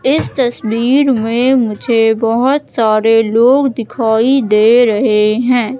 इस तस्वीर में मुझे बहोत सारे लोग दिखाई दे रहे हैं।